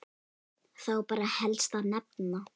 Þá ber helst að nefna